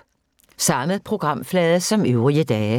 Samme programflade som øvrige dage